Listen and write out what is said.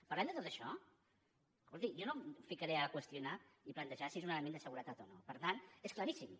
parlem de tot això escolti jo no em ficaré ara a qüestionar i plantejar si és un element de seguretat o no és claríssim